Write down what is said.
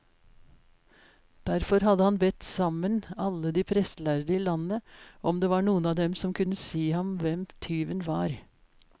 Derfor hadde han bedt sammen alle de prestlærde i landet, om det var noen av dem som kunne si ham hvem tyven var.